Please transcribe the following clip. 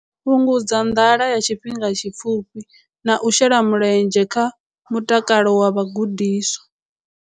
Fhungudza nḓala ya tshifhinga tshipfufhi na u shela mulenzhe kha mutakalo wa vhagudiswa.